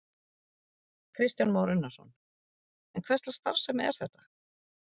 Kristján Már Unnarsson: En hverslags starfsemi er þetta?